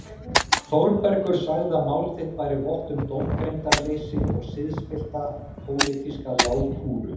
Þórbergur sagði að mál þitt bæri vott um dómgreindarleysi og siðspillta pólitíska lágkúru.